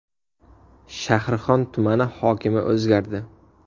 Shahrixon tumani hokimi o‘zgardi.